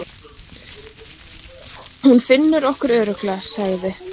Hún finnur okkur örugglega, sagði